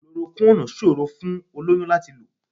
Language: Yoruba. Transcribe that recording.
Chloroquine ò ṣòrò fún olóyún láti lò.